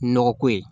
Nɔgɔ ko ye